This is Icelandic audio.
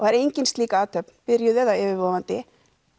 er engin slík athöfn byrjuð eða yfirvofandi